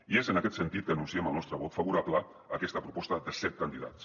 i és en aquest sentit que anunciem el nostre vot favorable a aquesta proposta de set candidats